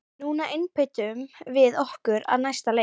Núna einbeitum við okkur að næsta leik!